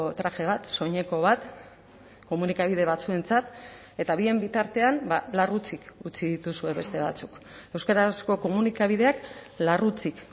traje bat soineko bat komunikabide batzuentzat eta bien bitartean larrutsik utzi dituzue beste batzuk euskarazko komunikabideak larrutsik